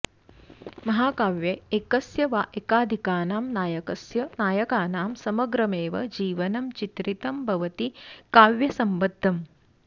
महाकाव्ये एकस्य वा एकाधिकानां नायकस्य नायकानां समग्रमेव जीवनं चित्रितं भवति काव्यसम्बद्धम्